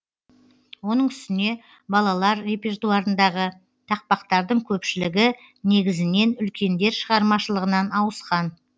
оның үстіне балалар репертуарындағы тақпақтардың көпшілігі негізінен үлкендер шығармашылығынан ауысқан